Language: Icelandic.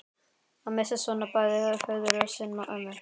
Að missa svona bæði föður sinn og ömmu